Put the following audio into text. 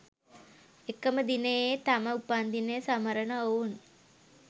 එකම දිනයේ තම උපන්දිනය සමරන ඔවුන්